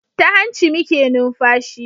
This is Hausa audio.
Ta hanci muke numfashi